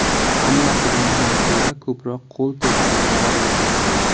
Hammasidan ham ko‘ra ko‘proq qo‘l terisi zararlanadi.